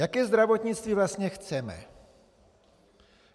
Jaké zdravotnictví vlastně chceme?